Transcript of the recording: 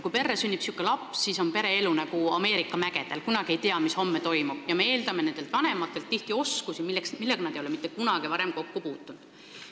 Kui perre sünnib niisugune laps, siis on pere elu nagu Ameerika mägedel – kunagi ei tea, mis homme toimub – ja me eeldame nendelt vanematelt tihti oskusi, millega nad ei ole mitte kunagi varem kokku puutunud.